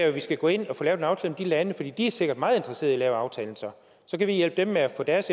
at vi skal gå ind og få lavet en aftale med de lande for de er sikkert meget interesserede i at lave aftalen så kan vi hjælpe dem med at få deres